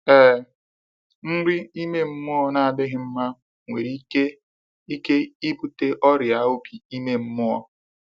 Ee, nri ime mmụọ na adịghị mma nwere ike ike ịbute ọrịa obi ime mmụọ.